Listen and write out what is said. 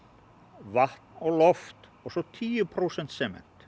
vatn og loft og svo tíu prósent sement